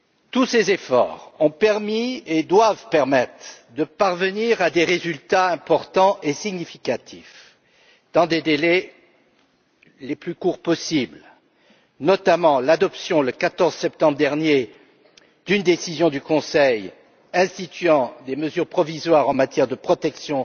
Tous ces efforts ont permis et doivent permettre de parvenir à des résultats importants et significatifs dans des délais les plus courts possibles, notamment l'adoption le 14 septembre dernier d'une décision du Conseil instituant des mesures provisoires en matière de protection